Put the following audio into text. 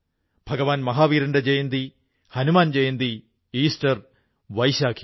ഭഗവാൻ മഹാവീരന്റെ ജയന്തി ഹനുമാൻ ജയന്തി ഈസ്റ്റർ വൈശാഖി